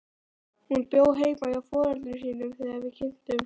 Hún bjó heima hjá foreldrum sínum þegar við kynntumst.